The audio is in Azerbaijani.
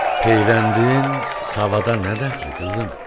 Peyvəndin savada nə dəxli, qızım?